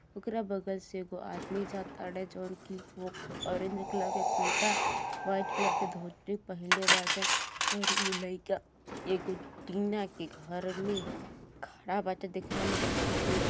ओकरा बगल से एगो आदमी जातरें जउन की वो ऑरेंज कलर के कुर्ता वाइट कलर के धोती पहनले बाटे और इ लइका एगो टीना के घर में खड़ा बाटे देखला में जॉन --